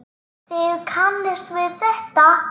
Þið kannist við þetta.